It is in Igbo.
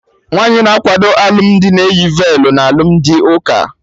Nwaanyi na akwado ilu dị na-eyi velu na alụmdi ụka